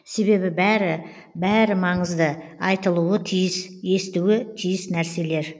себебі бәрі бәрі маңызды айтылуы тиіс естуі тиіс нәрселер